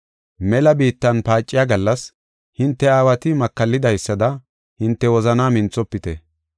mela biittan paaciya gallas, hinte aawati makallidaysada, hinte wozanaa minthofite.